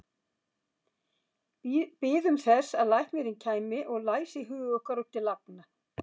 Biðum þess að læknirinn kæmi og læsi hug okkar upp til agna.